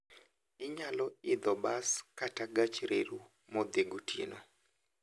Inyalo idho bas kata gach reru modhi gotieno.